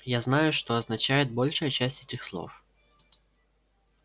я знаю что означает большая часть этих слов